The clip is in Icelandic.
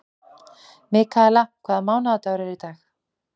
Mikaela, hvaða mánaðardagur er í dag?